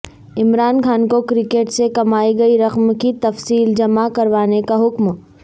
عمران خان کو کرکٹ سے کمائی گئی رقم کی تفصیل جمع کروانے کا حکم